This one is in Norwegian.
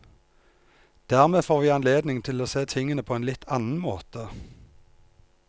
Dermed får vi anledning til å se tingene på en litt annen måte.